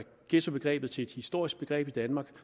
ghettobegrebet til et historisk begreb i danmark